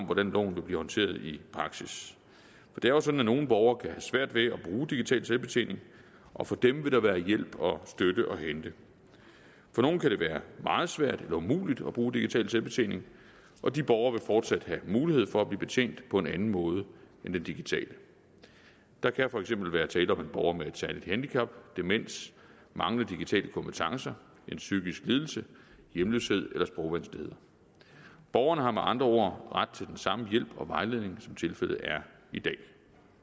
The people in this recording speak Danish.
hvordan loven vil blive håndteret i praksis det er jo sådan at nogle borgere kan have svært ved at bruge digital selvbetjening og for dem vil der være hjælp og støtte at hente for nogle kan det være meget svært eller umuligt at bruge digital selvbetjening og de borgere vil fortsat have mulighed for at blive betjent på en anden måde end den digitale der kan for eksempel være tale om en borger med et særligt handicap demens manglende digitale kompetencer en psykisk lidelse hjemløshed eller sprogvanskeligheder borgerne har med andre ord ret til den samme hjælp og vejledning som tilfældet er i dag